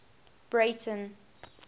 breyten